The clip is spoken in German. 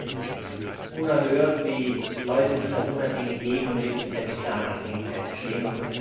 Es ist unerhört, wie Leute sich unabhängig geben und in Wirklichkeit in klaren Abhängigkeiten stehen.